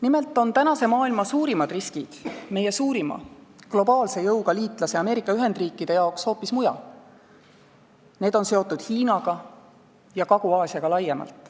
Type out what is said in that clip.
Nimelt on tänase maailma suurimad riskid meie suurima, globaalse jõuga liitlase Ameerika Ühendriikide jaoks hoopis mujal – need on seotud Hiinaga ja Kagu-Aasiaga laiemalt.